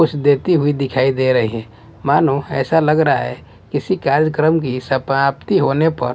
कुछ देती हुई दिखाई दे रही है मानो ऐसा लग रहा है किसी कार्यक्रम की सपाप्ति होने पर--